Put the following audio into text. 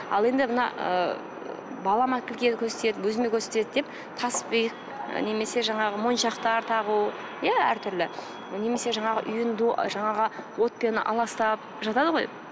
ал енді мына ы балама тіл тиеді көз тиеді өзіме көз тиеді деп таспиық немесе жаңағы моншақтар тағу иә әртүрлі немесе жаңағы жаңағы отпен аластап жатады ғой